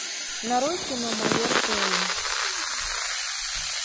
нарой кино майор пэйн